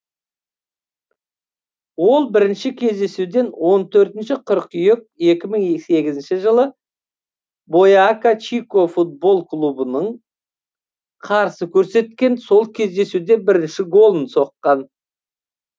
ол бірінші кездесуден он төртінші қыркүйек екі мың сегізінші жылы бойака чико футбол клубыңа қарсы көрсеткен сол кездесуде бірінші голын соққан